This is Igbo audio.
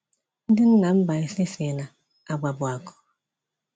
Ndị nna Mbaise sị na, “agwa bụ akụ.”